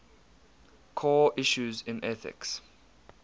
core issues in ethics